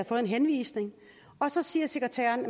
fået en henvisning og så siger sekretæren